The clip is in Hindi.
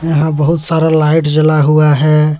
यहां बहुत सारा लाइट जला हुआ है।